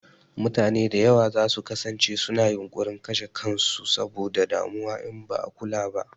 Mutane da yawa za su kasance su na yunƙurin kashe kan su saboda damuwa in ba a kula ba